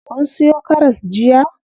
Kun siyo karas jiya?